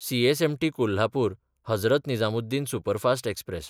CSMT कोल्हापूर–हजरत Nizamuddin superfast express